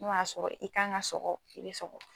N'o y'a sɔrɔ i kan ka sɔgɔ i be sɔgɔ